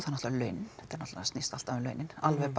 náttúrulega launin þetta náttúrulega snýst alltaf um launin alveg